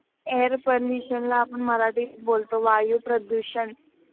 Air pollution ला आपण मराठीत बोलतो वायुप्रदूषण.